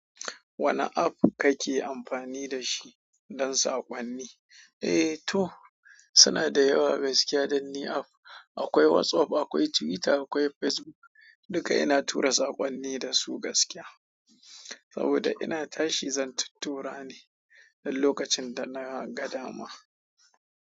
Wane app kake amfani da shi don saƙonni? Eh, to suna da yawa gaskiya dan ni app. Akwai WhatsApp, akwai Twitter, akwai Facebook. Duka ina tura saƙonni da su gaskiya. Saboda ina tashi zan tattura ne don lokacin da na ga dama.